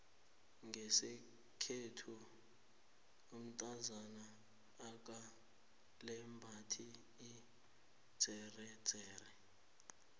ngeskhethu umtazana akalembathi idzeredzere